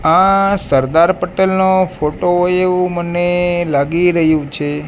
આ સરદાર પટેલનો ફોટો હોય એવું મને લાગી રહ્યું છે.